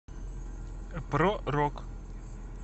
про рок